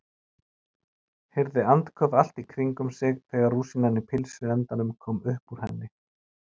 Heyrði andköf allt í kringum sig þegar rúsínan í pylsuendanum kom upp úr henni.